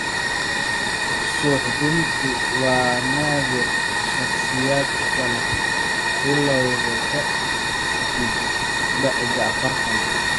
Suuxdintu waa naadir shakhsiyaadka leh bilawga ka dib da'da afartan.